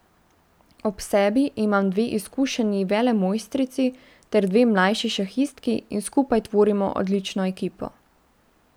Ob sebi imam dve izkušeni velemojstrici ter dve mlajši šahistki in skupaj tvorimo odlično ekipo.